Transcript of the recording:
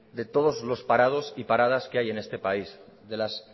de todos los parados y paradas que hay en este país de las